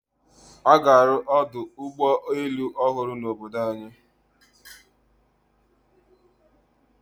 A ga-alụ ọdụ ụgbọelu ọhụrụ n'obodo anyị.